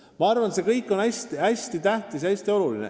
Ma arvan, et see kõik on hästi tähtis.